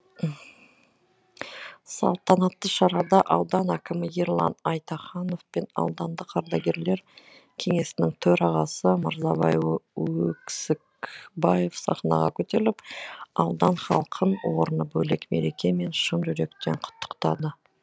салтанатты шарада аудан әкімі ерлан айтаханов пен аудандық ардагерлер кеңесінің төрағасы мырзабай өксікбаев сахнаға көтеріліп аудан халқын орны бөлек мерекемен шын жүректен құттықтады